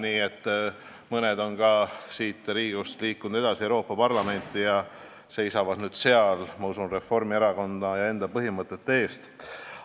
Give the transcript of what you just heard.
Nii et mõned on siit Riigikogust liikunud edasi Euroopa Parlamenti ja seisavad nüüd seal, ma usun, Reformierakonna ja enda põhimõtete eest.